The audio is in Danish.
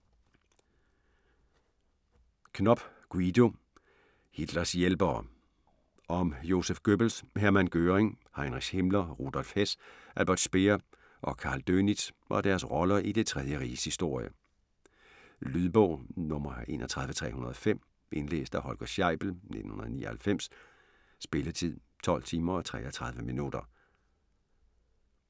Knopp, Guido: Hitlers hjælpere Om Joseph Goebbels, Hermann Göring, Heinrich Himmler, Rudolf Hess, Albert Speer og Karl Dönitz og deres roller i Det tredje Riges historie. Lydbog 31305 Indlæst af Holger Scheibel, 1999. Spilletid: 12 timer, 33 minutter.